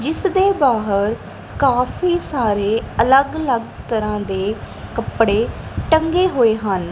ਜਿੱਸਦੇ ਬਾਹਰ ਕਾਫੀ ਸਾਰੇ ਅੱਲਗ ਅਲੱਗ ਤਰਹਾਂ ਦੇ ਕੱਪੜੇ ਟੰਗੇ ਹੋਏ ਹਨ।